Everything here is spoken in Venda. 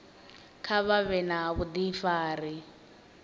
kha vha vhe na vhudifari